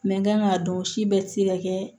n kan k'a dɔn si bɛɛ tɛ se ka kɛ